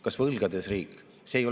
Kas võlgades riik?